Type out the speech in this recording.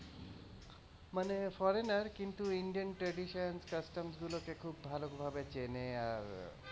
মানে foreigner কিন্তু indian tradition custom গুলোকে খুব ভালোভাবে চেনে আর,